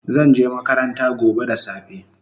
Zanje makaranta gobe da safe